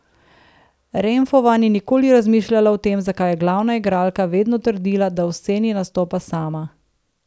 Renfrova ni nikoli razmišljala o tem, zakaj je glavna igralka vedno trdila, da v sceni nastopa sama.